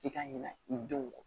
I ka ɲinɛ i denw kɔ